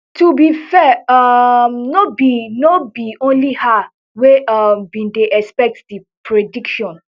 to be fair um no be no be only her wey um bin dey expect di prediction